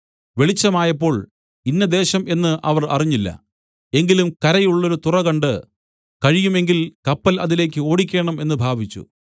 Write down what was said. വെളിച്ചമായപ്പോൾ ഇന്ന ദേശം എന്ന് അവർ അറിഞ്ഞില്ല എങ്കിലും കരയുള്ളൊരു തുറ കണ്ട് കഴിയും എങ്കിൽ കപ്പൽ അതിലേക്ക് ഓടിക്കേണം എന്നു ഭാവിച്ചു